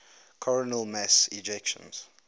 coronal mass ejections